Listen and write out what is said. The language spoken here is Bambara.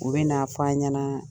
U bɛ na f'an ɲanaa